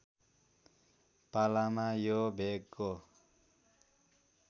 पालामा यो भेगको